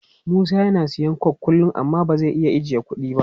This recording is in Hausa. Musa yana siyan coke kullum amma ba zai iya ajiye kudi ba.